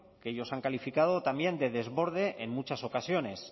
que ellos han calificado también de desborde en muchas ocasiones